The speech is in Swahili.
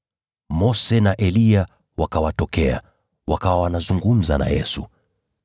Mose na Eliya wakawatokea, wakawa wanazungumza na Yesu.